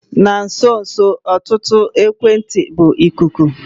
Na nso nso a ọtụtụ ekwentị bụ ikuku.